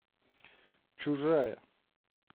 чужая